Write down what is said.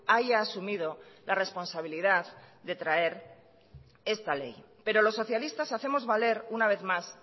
haya asumido la responsabilidad de traer esta ley pero los socialistas hacemos valer una vez más